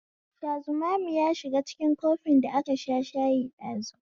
Shazumami yashiga cikin kofin da aka sha shayi dashi